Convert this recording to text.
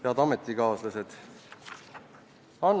Head ametikaaslased!